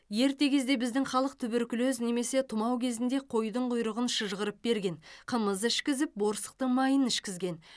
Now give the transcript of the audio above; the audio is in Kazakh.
ерте кезде біздің халық туберкулез немесе тұмау кезінде қойдың құйрығын шыжғырып берген қымыз ішкізіп борсықтың майын ішкізген